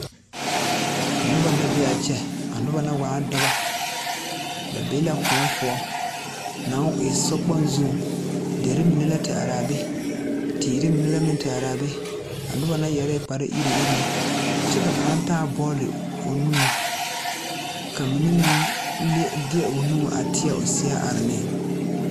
Noba la be a kyɛ a noba na waa dɔbɔ ba be la kõɔ poɔ naŋ e sokpoŋ zuŋ derre mine la te araa be teere minebbla meŋ te araa be a noba na yɛrɛɛ kpare iruŋiruŋ kyɛ ka kaŋa taa bɔɔle o nuŋ ka mine meŋ lie de o nu a teɛ o seɛ are ne.